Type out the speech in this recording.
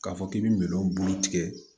K'a fɔ k'i bɛ minɛn bulu tigɛ